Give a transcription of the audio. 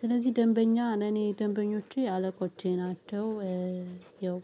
ስለዚህ ደንበኛ እኔ ደንበኞቼ አለቆቼ ናቸው። ያው